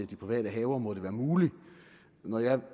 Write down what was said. de private haver må det være muligt når jeg